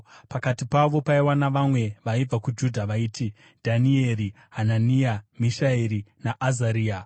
Pakati pavo paiva navamwe vaibva kuJudha vaiti: Dhanieri, Hanania, Mishaeri naAzaria.